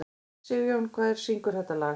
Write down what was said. Sigjón, hver syngur þetta lag?